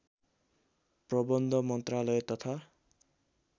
प्रबन्ध मन्त्रालय तथा